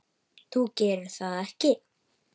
Þú gerir það ekki.